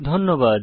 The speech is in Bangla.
ধন্যবাদ